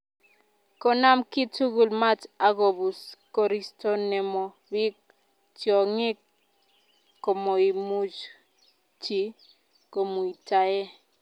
Konam kiy tugul mat akobus koristo nemo bik, tiongik komoimuchi chi komuitae